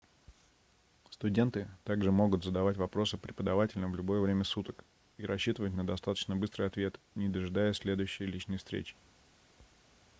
студенты также могут задавать вопросы преподавателям в любое время суток и рассчитывать на достаточно быстрые ответы не дожидаясь следующей личной встречи